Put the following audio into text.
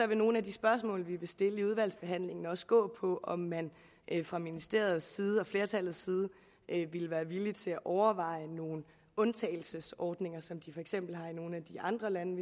vil nogle af de spørgsmål vi vil stille under udvalgsbehandlingen også gå på om man fra ministerens og flertallets side vil være villige til at overveje nogle undtagelsesordninger som de for eksempel har i nogle af de andre lande